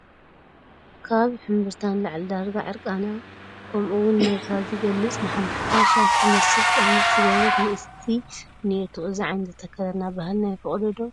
ካብ ካብ ሕምብርታ ንላዕሊ ዳርጋ ዕርቃና ከምውን ነብሳ ዝገልፅ ማሕማሕታ ሻሽ ዝመስል ቀምሽ ዝገበረት ንእስቲ እኔቶ፡፡ እዚ ዓይነት ኣከዳድና ባህልና ይፈቕዶ ዶ?